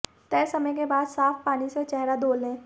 तय समय के बाद साफ पानी से चेहरा धो लें